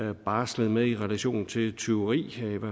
har barslet med i relation til tyveri